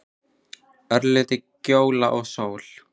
Örlítil gjóla og sól.